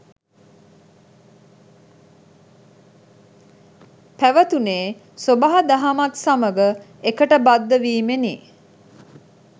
පැවතුනේ් සොබාදහමත් සමඟ එකට බද්ධ වීමෙනි